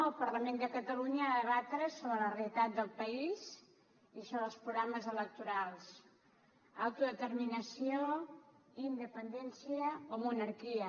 el parlament de catalunya ha de debatre sobre la realitat del país i sobre els programes electorals autodeterminació independència o monarquia